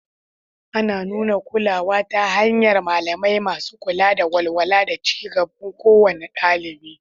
Ana nuna kulawa ta hanyar malamai masu kula da walwala da ci gaban kowane ɗalibi.